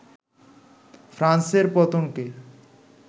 ফ্রান্সের পতনকে